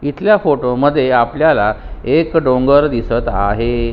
इथल्या फोटोमध्ये आपल्याला एक डोंगर दिसत आहे.